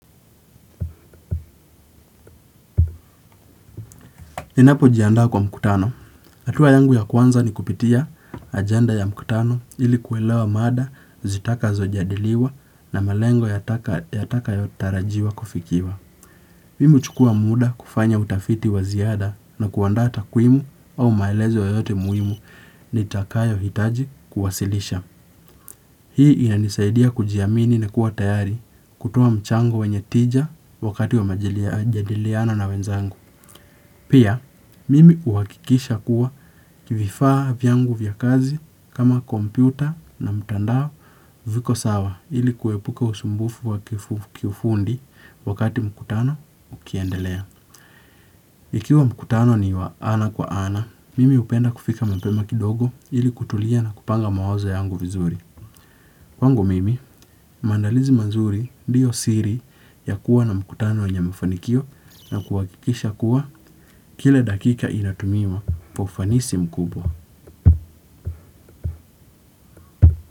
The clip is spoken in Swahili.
Ninapo jiandaa kwa mkutano. Atua yangu ya kwanza ni kupitia agenda ya mkutano ili kuelewa mada zitakazo jadiliwa na malengo yatakayo tarajiwa kufikiwa. Mimi uchukua muda kufanya utafiti waziada na kuandaa takwimu au maelezo yoyote muhimu ni takayo hitaji kuwasilisha. Hii inanisaidia kujiamini na kuwa tayari kutoa mchango wenye tija wakati wa majadiliano na wenzangu. Pia, mimi uwakikisha kuwa vifaa vyangu vya kazi kama kompyuta na mtandao viko sawa ili kuepuka usumbufu wa kifundi wakati mkutano ukiendelea. Ikiwa mkutano ni wa ana kwa ana, mimi upenda kufika mapema kidogo ili kutulia na kupanga mawazo yangu vizuri. Kwangu mimi, maandalizi mazuri ndiyo siri ya kuwa na mkutano wenye mafanikio na kuwakikisha kuwa kila dakika inatumiwa kwa ufanisi mkubwa.